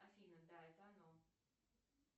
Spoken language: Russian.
афина да это оно